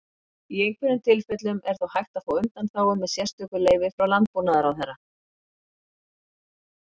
Í einhverjum tilfellum er þó hægt að fá undanþágu með sérstöku leyfi frá Landbúnaðarráðherra.